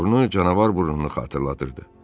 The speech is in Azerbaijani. burnu canavar burnunu xatırladırdı.